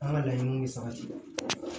An ka laɲiniw bɛ sabati